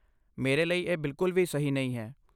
ਮੇਰੇ ਲਈ ਇਹ ਬਿਲਕੁਲ ਵੀ ਸਹੀ ਨਹੀਂ ਹੈ।